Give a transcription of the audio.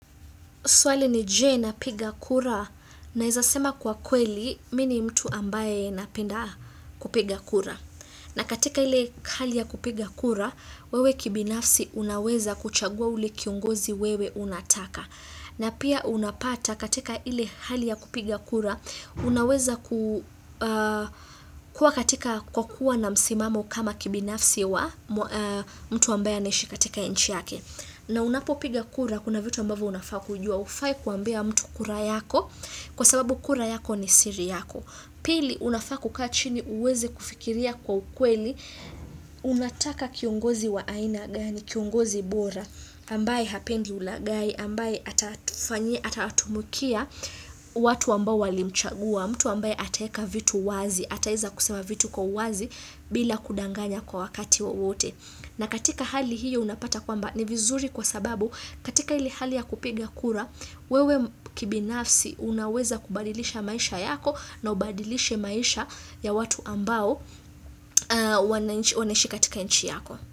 Swali ni je na piga kura naweza sema kwa kweli mini mtu ambaye napenda kupiga kura. Na katika ile hali ya kupiga kura, wewe kibinafsi unaweza kuchagua ule kiongozi wewe unataka. Na pia unapata katika ile hali ya kupiga kura, unaweza kuwa katika kwa kuwa na msimamo kama kibinafsi wa mtu ambaye anayeishi katika nchi yake. Na unapopiga kura kuna vitu ambavyo unafaa kujua hufai kuambia mtu kura yako kwa sababu kura yako ni siri yako. Pili unafaa kukaa chini uweze kufikiria kwa ukweli, unataka kiongozi wa aina gani, kiongozi bora, ambaye hapendi ulaghai, ambaye atatumikia watu ambao walimchagua, mtu ambaye ataweka vitu wazi, ataweza kusema vitu kwa uwazi bila kudanganya kwa wakati wowote. Na katika hali hiyo unapata kwamba ni vizuri kwa sababu katika ile hali ya kupiga kura wewe kibinafsi unaweza kubadilisha maisha yako na ubadilishe maisha ya watu ambao wanaishi katika nchi yako.